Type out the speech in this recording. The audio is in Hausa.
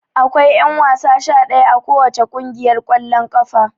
Akwai ƴanwasa sha ɗaya a kowace ƙungiyar ƙwallon ƙafar.